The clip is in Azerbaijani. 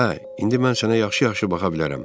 Hə, indi mən sənə yaxşı-yaxşı baxa bilərəm.